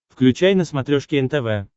включай на смотрешке нтв